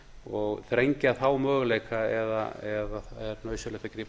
og þrengja þá möguleika eða er nauðsynlegt að grípa